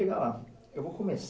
chegar Eu vou começar